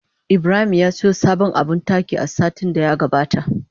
Ibrahim ya siyo sabon abin taki a satin da ya gabata.